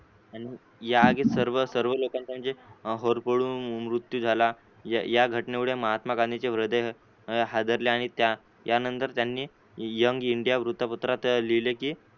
आणि या आगीत सर्व लोकांचा म्हणजे होरपोळुन मृत्यू झाला या या घटनेमुळे महात्मा गांधींचे हृदय हादरले आणि त्या यानंतर त्यांनी यंग इंडिया वृत्तपत्रात लिहिले की